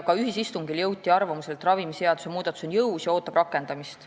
Ka ühisistungil jõuti arvamusele, et ravimiseaduse muudatus on jõus ja ootab rakendamist.